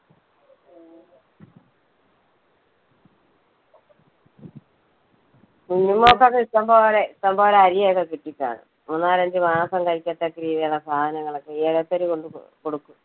കുഞ്ഞുമോക്കൊക്കെ ഇഷ്ടംപോലെ, ഇഷ്ടംപോലെ അരി ഒക്കെ കിട്ടി കാണും, മൂന്നാലഞ്ച് മാസം കഴിക്ക തക്ക രീതിയിലുള്ള സാധനങ്ങളൊക്കെ കൊണ്ട് കൊടുക്കും.